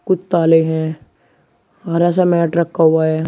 ताले हैं हरा सा मैट रखा हुआ है।